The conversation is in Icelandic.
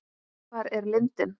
Hvar er lindin?